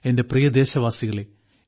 എന്റെ പ്രിയദേശവാസികളേ